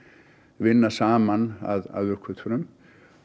vinna saman að uppgötvunum